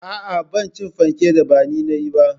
Aa, Bana cin fanken da bani nayi ba